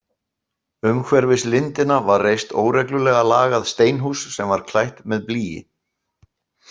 Umhverfis lindina var reist óreglulega lagað steinhús sem var klætt með blýi.